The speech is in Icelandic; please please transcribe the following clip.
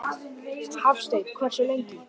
Hafsteinn: Hversu lengi?